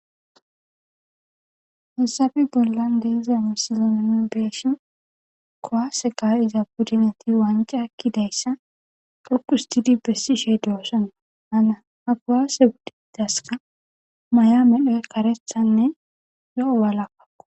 hayssafe bollan deza misilen nuni bee'shin kuwase ka'iza buddineti wance ekkidayssa dhukustidi bessi shey doosanna hana ha kowaase guddidaska may7a medhoy karethanne zo'o walakakko.